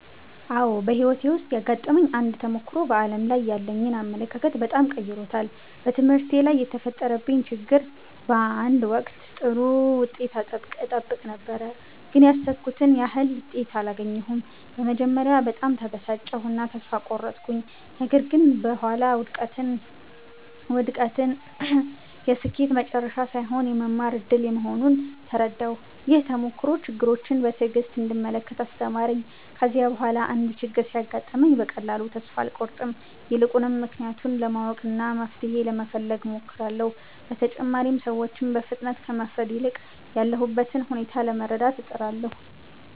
አዎ፣ በሕይወቴ ውስጥ ያጋጠመኝ አንድ ተሞክሮ በዓለም ላይ ያለኝን አመለካከት በጣም ቀይሮታል። በትምህርቴ ላይ የተፈጠረብኝ ችግር ነበር። በአንድ ወቅት ጥሩ ውጤት እጠብቅ ነበር፣ ግን ያሰብኩትን ያህል ውጤት አላገኘሁም። በመጀመሪያ በጣም ተበሳጨሁ እና ተስፋ ቆረጥኩ። ነገር ግን በኋላ ውድቀት የስኬት መጨረሻ ሳይሆን የመማር እድል መሆኑን ተረዳሁ። ይህ ተሞክሮ ችግሮችን በትዕግሥት እንድመለከት አስተማረኝ። ከዚያ በኋላ አንድ ችግር ሲያጋጥመኝ በቀላሉ ተስፋ አልቆርጥም። ይልቁንም ምክንያቱን ለማወቅና መፍትሔ ለመፈለግ እሞክራለሁ። በተጨማሪም ሰዎችን በፍጥነት ከመፍረድ ይልቅ ያሉበትን ሁኔታ ለመረዳት እጥራለሁ።